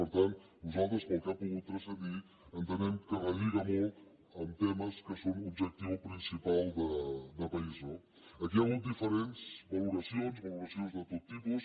per tant nosaltres pel que ha pogut transcendir entenem que relliga molt amb temes que són objectiu principal de país no aquí hi ha hagut diferents valoracions valoracions de tot tipus